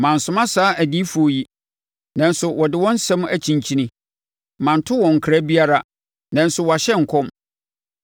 Mansoma saa adiyifoɔ yi, nanso wɔde wɔn asɛm akyinkyini; manto wɔn nkra biara, nanso wɔahyɛ nkɔm.